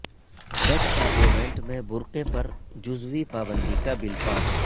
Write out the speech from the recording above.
Dutch parliament میں برقعے پر جزوی پابندی کا بل پاس